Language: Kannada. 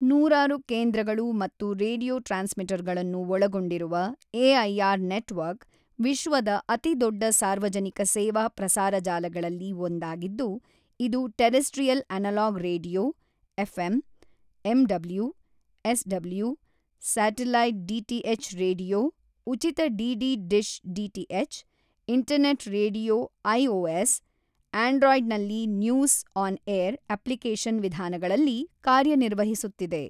ನೂರಾರು ಕೇಂದ್ರಗಳು ಮತ್ತು ರೇಡಿಯೊ ಟ್ರಾನ್ಸ್ ಮಿಟರ್ಗಳನ್ನು ಒಳಗೊಂಡಿರುವ ಎಐಆರ್ ನೆಟ್ವರ್ಕ್ ವಿಶ್ವದ ಅತಿದೊಡ್ಡ ಸಾರ್ವಜನಿಕ ಸೇವಾ ಪ್ರಸಾರ ಜಾಲಗಳಲ್ಲಿ ಒಂದಾಗಿದ್ದು, ಇದು terrestrial analog radio FM, M W, SW, satellite DTH radio ಉಚಿತ DD dish DTH, internet radio iOS ಆಂಡ್ರಾಯ್ಡ್ನಲ್ಲಿ ನ್ಯೂಸ್ಆನ್ಏರ್ ಅಪ್ಲಿಕೇಶನ್ ವಿಧಾನಗಳಲ್ಲಿ ಕಾರ್ಯನಿರ್ವಹಿಸುತ್ತಿದೆ.